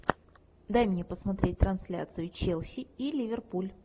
дай мне посмотреть трансляцию челси и ливерпуль